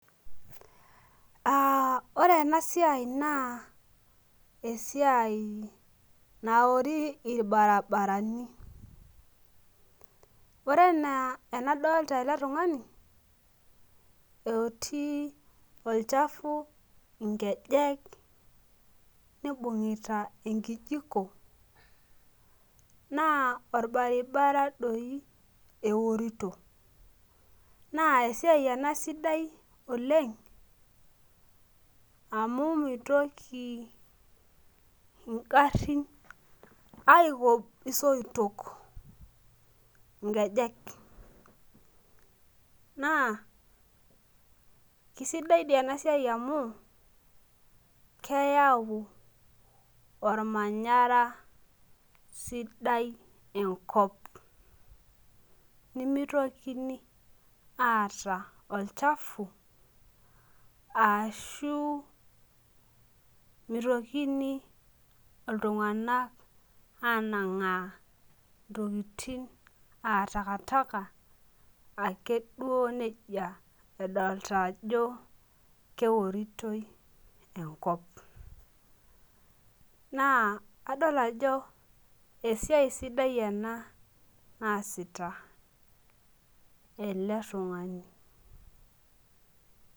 Uh ore ena siai naa esiai naori irbarabarani ore enaa enadolta ele tung'ani otii olchafu inkejek nibung'ita enkijiko naa orbaribara doi eworito naa esiai ena sidai oleng amu mitoki ingarrin aikob isoitok inkejek naa kisidai dii ena siai amu keyau ormanyara sidai enkop nimitokini aata olchafu ashu mitokini iltung'anak anang'aa intokiting aa takataka akeduo nejia edolta ajo keoritoi enkop naa adol ajo esiai sidai ena naasita ele tung'ani.